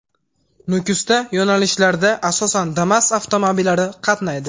Nukusda yo‘nalishdlarda asosan Damas avtomobillari i qatnaydi.